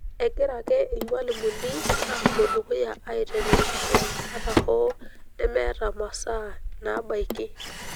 Egira ake ilmalimuni aapuo dukuya aiteng'enisho ata hoo nemeeta masaa naabaiki.